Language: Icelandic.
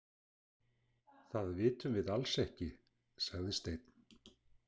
Það vitum við alls ekki, sagði Steinn.